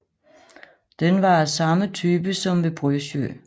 Den var af samme type som ved Brøsjø